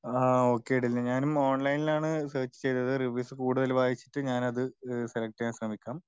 ആഹ് okay Dilna ഞാനും ഓൺലൈനിൽ ആണ് സേർച്ച് ചെയ്തത് റിവ്യൂസ് കൂടുതൽ വായിച്ചിട്ട് ഞാൻ അത് സെലക്ട് ചെയ്യാൻ ശ്രമിക്കാം.